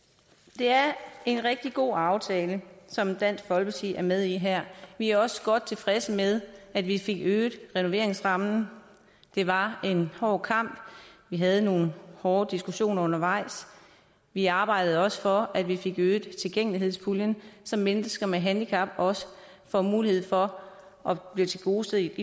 det er en rigtig god aftale som dansk folkeparti er med i her vi er også godt tilfredse med at vi fik øget renoveringsrammen det var en hård kamp og vi havde nogle hårde diskussioner undervejs vi arbejdede også for at vi fik øget tilgængelighedspuljen så mennesker med handicap også får mulighed for at blive tilgodeset